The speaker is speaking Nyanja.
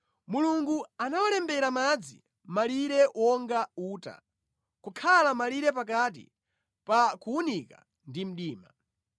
Mulungu anawalembera madzi malire wonga uta, kukhala malire pakati pa kuwunika ndi mdima.